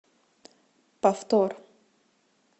повтор